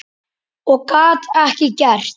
Og gat ekkert gert.